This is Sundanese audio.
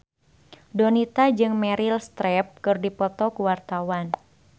Donita jeung Meryl Streep keur dipoto ku wartawan